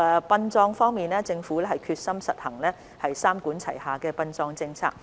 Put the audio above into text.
殯葬方面，政府決心實行三管齊下的殯葬政策。